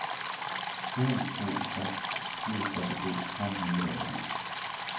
en to seks sju trettito fem hundre og en